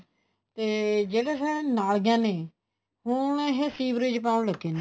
ਤੇ ਜਿਹੜੀਆਂ ਇਹ ਨਾਲੀਆਂ ਨੇ ਉਹ ਹੁਣ ਇਹ ਸੀਵਰੇਜ ਪਾਉਣ ਲੱਗੇ ਨੇ